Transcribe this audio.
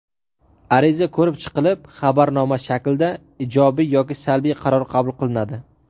Ariza ko‘rib chiqilib xabarnoma shaklda ijobiy yoki salbiy qaror qabul qilinadi.